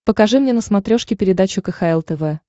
покажи мне на смотрешке передачу кхл тв